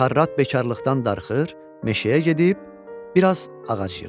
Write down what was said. Xarrat bekarlıqdan darıxır, meşəyə gedib biraz ağac yığır.